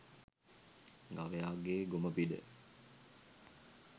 ගවයාගේ ගොම පිඬ